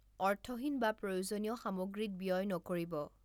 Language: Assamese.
অৰ্থহীন বা প্ৰয়োজনীয় সামগ্ৰীত ব্যয় নকৰিব।